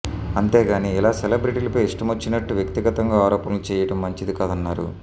అంతేగాని ఇలా సెలబ్రిటీలపై ఇష్టమొచ్చినట్టు వ్యక్తిగతంగా ఆరోపణలు చెయ్యటం మంచింది కాదన్నారు